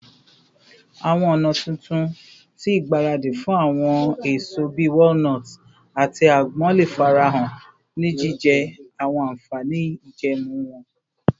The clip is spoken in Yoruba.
Awọn ọna tuntun ti igbaradi fun awọn eso bii walnuts ati agbon le farahan, ni jijẹ awọn anfani ijẹẹmu wọn